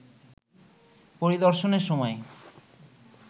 পরিদর্শনের সময়